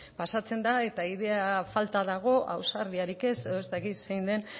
pasatzen da eta ideia falta dago ausardiarik ez edo ez dakit zein den